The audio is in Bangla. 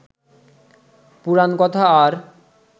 পুরাণকথা আর